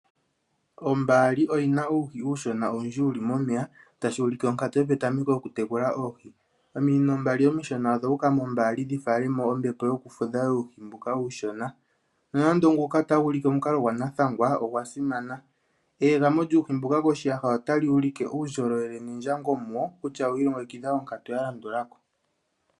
Ombaali oyi na uuhi uushona owundji wu li momeya tashi vulika onkatu yopetameko yokutekula oohi ,ominino mbali omishona odhuuka mombaali dhi fale mo ombepo yokufudha yuuhi mbuka uushona nonando nguka otagu ulike onkalo gwanathangwa ogwasimana eegamo lyuuhi mbuka koshiyaha otali ulike uundjolowele nendjango muwo kutya owi ilongekidha konkatu ya landula ko.